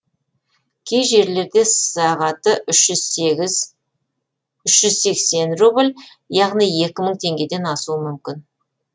кей жерлерде сағаты үш жүз сексен рубль яғни екі мың теңгеден асуы мүмкін